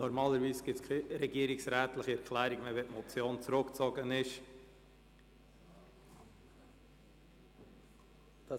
Normalerweise gibt es keine regierungsrätliche Erklärung mehr, wenn ein Vorstoss zurückgezogen wurde.